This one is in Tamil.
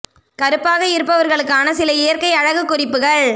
கருப்பாக இருப்பவர்களுக்கான சில இயற்கை அழகு குறிப்புகள்